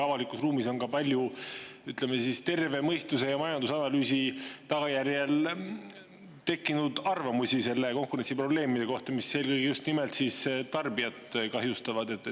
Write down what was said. Avalikus ruumis on ka palju, ütleme, terve mõistuse ja majandusanalüüsi tagajärjel tekkinud arvamusi selle konkurentsiprobleemide kohta, mis eelkõige just nimelt tarbijat kahjustavad.